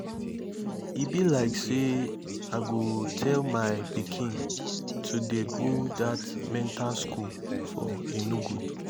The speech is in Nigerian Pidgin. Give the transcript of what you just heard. e be like say i go tell my pikin to dey go dat mental school for enugu